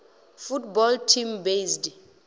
football team based